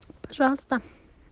пожалуйста